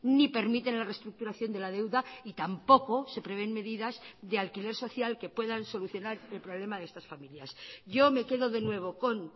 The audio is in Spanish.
ni permiten la reestructuración de la deuda y tampoco se prevén medidas de alquiler social que puedan solucionar el problema de estas familias yo me quedo de nuevo con